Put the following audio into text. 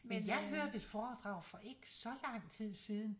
Men jeg hørte et foredrag for ikke så lang tid siden